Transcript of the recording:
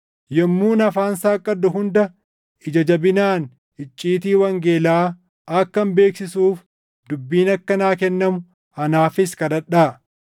Yommuun afaan saaqqadhu hunda ija jabinaan icciitii wangeelaa akkan beeksisuuf dubbiin akka naa kennamu anaafis kadhadhaa;